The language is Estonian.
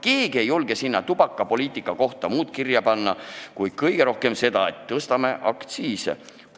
Keegi ei julge sinna tubakapoliitika kohta muud kirja panna kui vahest seda, et tõstame aktsiise.